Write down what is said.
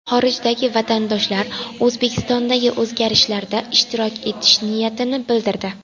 Xorijdagi vatandoshlar O‘zbekistondagi o‘zgarishlarda ishtirok etish niyatini bildirdi.